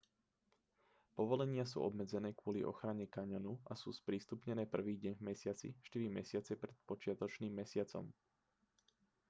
povolenia sú obmedzené kvôli ochrane kaňonu a sú sprístupnené prvý deň v mesiaci štyri mesiace pred počiatočným mesiacom